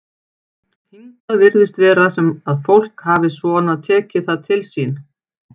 Hingað virðist vera sem að fólk hafi svona tekið það til sín?